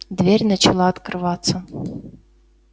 дверь начала открываться